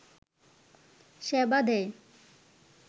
সেবা দেয়